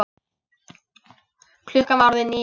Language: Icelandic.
Klukkan var orðin níu.